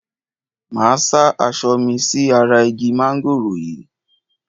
Máa sá aṣọ mi sí ara igi mángòrò yìí.